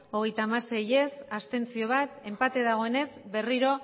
hogeita hamasei ez bat abstentzio enpate dagoenez berriro